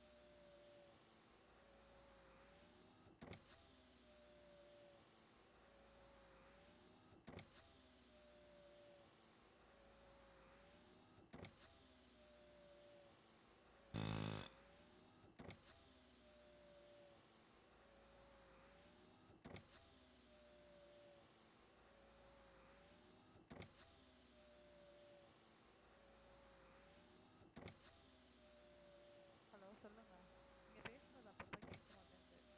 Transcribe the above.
hello சொல்லுங்க நீங்க பேசுறது அப்பப்ப கேட்க மாட்டேங்குது